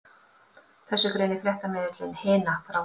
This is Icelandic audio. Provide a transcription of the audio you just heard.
Þessu greinir fréttamiðillinn Hina frá